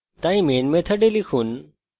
সুতরাং main মেথডের মধ্যে লিখুন